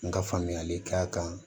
N ka faamuyali k'a kan